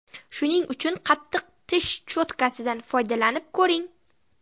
Shuning uchun qattiq tish cho‘tkasidan foydalanib ko‘ring.